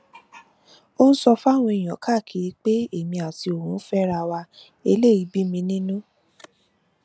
ó ń sọ fáwọn èèyàn káàkiri pé èmi àti òun ń fẹra wa eléyìí bí mi nínú